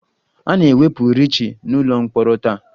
A na-ewepụ Ricky n'ụlọ mkpọrọ taa